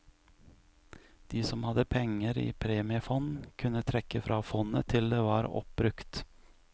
De som hadde penger i premiefond, kunne trekke fra fondet til det var oppbrukt.